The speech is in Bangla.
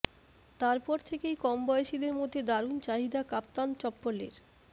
তারপর থেকেই কমবয়েসিদের মধ্যে দারুণ চাহিদা কাপ্তান চপ্পলের